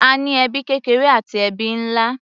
A ní ẹbí kékeré àti ẹbí nlá.